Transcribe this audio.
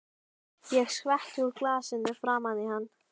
Ég skvetti úr glasinu framan í hann.